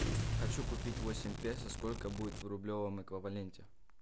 хочу купить восемь песо сколько будет в рублевом эквиваленте